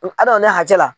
Adamaden hakɛ la